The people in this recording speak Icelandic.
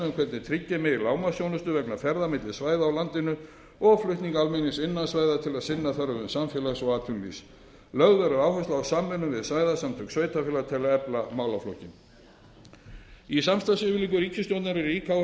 móta stefnu um hvernig tryggja megi lágmarksþjónustu vegna ferða milli svæða á landinu og flutning almennings innan svæða til að sinna þörfum samfélags og atvinnulífs lögð verður áhersla á samvinnu við svæðasamtök sveitarfélaga til að efla málaflokkinn í samstarfsyfirlýsingu ríkisstjórnarinnar er rík áhersla lögð